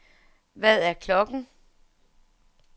Hvad er klokken